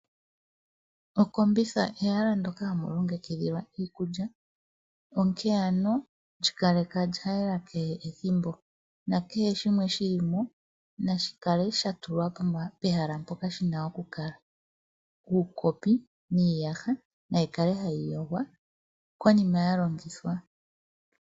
Okombitha ehala ndyoka hamu longekidhilwa iikulya, onkene ano lyi kaleka lya yela kehe ethimbo, nakehe shimwe shili mo nashi kale sha tulwa pehala mpoka shina okukala. Uukopi niiyaha nayi kale hayi yogwa konima ya longithwa.